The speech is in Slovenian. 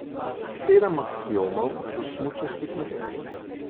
Sedem aksiomov do smučarskih nebes.